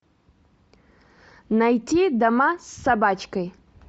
найти дама с собачкой